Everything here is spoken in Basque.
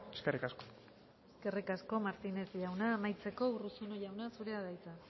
eskerrik asko eskerrik asko martínez jauna amaitzeko urruzuno jauna zurea da hitza